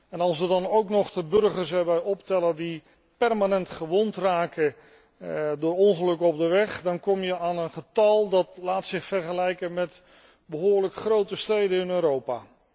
En als we dan ook nog de burgers erbij optellen die permanent gewond raken door ongelukken op de weg, dan kom je aan een getal dat zich laat vergelijken met behoorlijk grote steden in Europa.